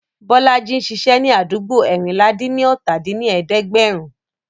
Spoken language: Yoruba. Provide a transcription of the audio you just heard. Bọ́lájí ń ṣiṣẹ́ ní àdúgbò eérinlá-dín-ní-ọ́ta dín ní ẹ̀ẹ́dẹ́gbẹ́rún